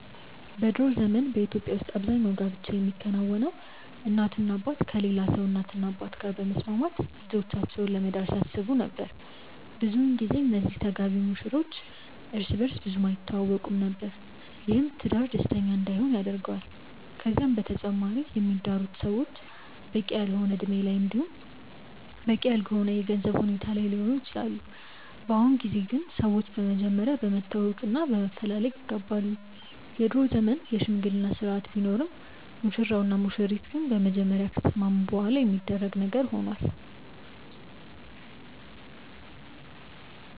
በ ድሮ ዘመን በኢትዮጵያ ውስጥ አብዛኛው ጋብቻ የሚከናወነው እናትና አባት ከሌላ ሰው እናትና አባት ጋር በመስማማት ልጆቻቸውን ለመዳር ሲያስቡ ነበር። ብዙን ጊዜ እነዚህ ተጋቢ ሙሽሮች እርስ በእርስ ብዙም አይተዋወቁም ነበር። ይህም ትዳር ደስተኛ እንዳይሆን ያደርገዋል። ከዛም በተጨማሪ የሚዳሩት ሰዎች በቂ ያልሆነ እድሜ ላይ እንዲሁም በቂ ያልሆነ የገንዘብ ሁኔታ ላይ ሊሆኑ ይችላሉ። በአሁኑ ጊዜ ግን ሰዎች በመጀመሪያ በመተዋወቅ እና በመፈላለግ ይጋባሉ። የድሮ ዘመን የሽምግልና ስርአት ቢኖርም ሙሽራው እና ሙሽሪት ግን በመጀመሪያ ከተስማሙ በኋላ የሚደረግ ነገር ሆኗል።